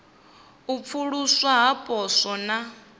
u pfuluswa ha poswo na